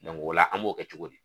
o la an b'o kɛ cogo di?